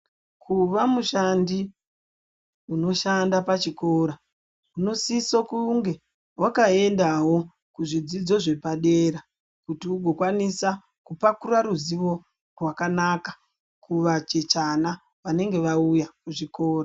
Kuva mushandi unoshanda pachikora unosiso kunge wakaendawo kuzvidzidzo zvepadera kuti ugokwanisa kupakura ruzivo rwakanaka kuvachichana vanenge vauya kuchikora